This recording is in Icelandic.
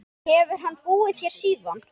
Hefur hann búið hér síðan.